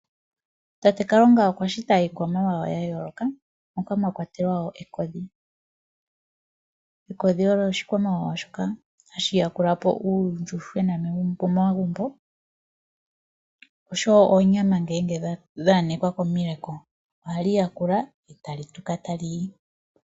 Tate Kalunga okwa shita iikwamawawa yayooloka moka mwakwatelwa wo ekodhi. Ekodhi olyo oshikwamawawa shoka hashi yakulapo uuyuhwena pomagumbo, osho wo oonyama ngele dhaya nekwa komileko, ohali yakula etalituka taliyi.